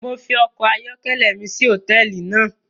Mo fi ọkọ ayọkẹlẹ mi silẹ ni hotẹẹli náa